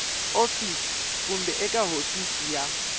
office kumbe eka hofisi ya